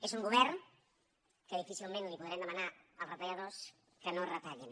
és un govern en què difícilment podrem demanar als retalladors que no retallin